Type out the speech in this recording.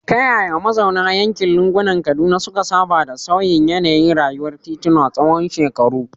Ta yaya mazauna yankin lungunan Kaduna suka saba da sauyin yanayin rayuwar tituna tsawon shekaru?